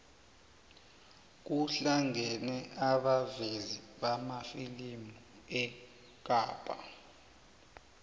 kuhlangene abavezi bamafilimu ekapa